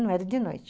Não era de noite.